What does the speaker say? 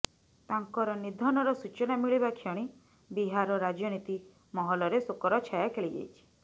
ତାଙ୍କର ନିଧନର ସୂଚନା ମିଳିବା କ୍ଷଣି ବିହାରର ରାଜନୀତି ମହଲରେ ଶୋକର ଛାୟା ଖେଳିଯାଇଛି